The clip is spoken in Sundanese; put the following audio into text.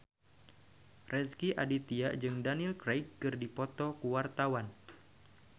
Rezky Aditya jeung Daniel Craig keur dipoto ku wartawan